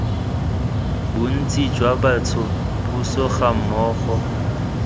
bontsi jwa bantsho puso gammogo